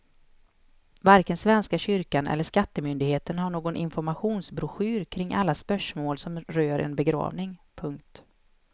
Varken svenska kyrkan eller skattemyndigheten har någon informationsbroschyr kring alla spörsmål som rör en begravning. punkt